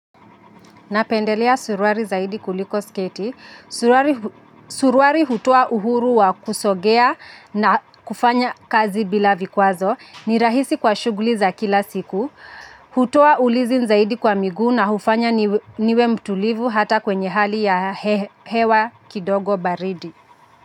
Napendelea suruali zaidi kuliko sketi. Suruali suruali hutoa uhuru wa kusongea na kufanya kazi bila vikwazo. Ni rahisi kwa shughuli za kila siku. Hutoa ulinzi zaidi kwa miguu na hufanya niwe mtulivu hata kwenye hali ya hewa kidogo baridi.